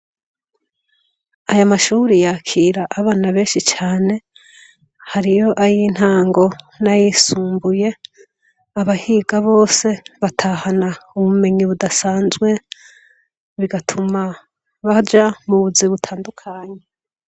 Aya mashure yakira abana benshi cane, hariyo ayintango n'ayisumbuye. Abahiga bose batahana ubumenyi budasanzwe, bigatuma baja mu buzi butandukanye.